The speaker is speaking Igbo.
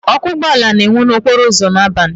Ọkụ ụgbọ ala na-enwu n'okporo ụzọ n'abalị.